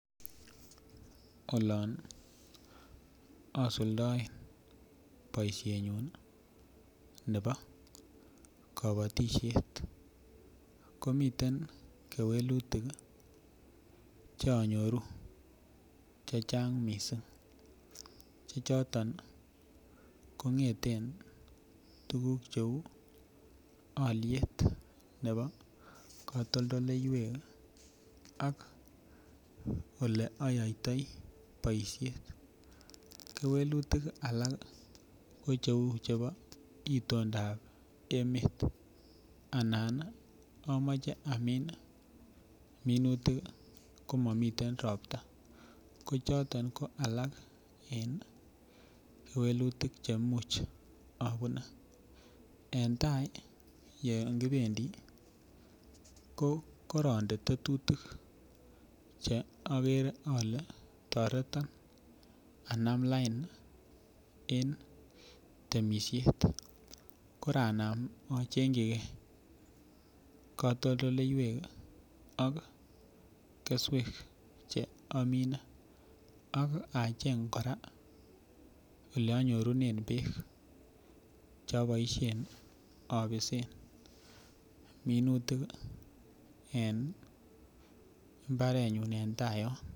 Olon osuldoen boishenyun nebo kobotishet komite kewelutik chonyoru chechang missing' chechoton kongeten tuguk cheu oliet nebo kotondoleiwek ak oleoyotoi boishet, kewelutik alak ko cheu chebo itondab emet anan omoche amin minutik komomiten ropta kochoton ko alak en kewelutik cheimuch obune en tai yon kipendi kokoronde tetutik che okere ole toreton anam lain en temishet koranam ochenjikee kotondoleiwek ok keswek che omine ak acheng koraa elonyorunen beek choboishen obisen minutik en imbarenyu en tai yon.